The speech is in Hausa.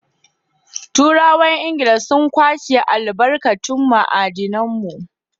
Turawan Ingila sun kwashi albarkatun ma'adinan mu.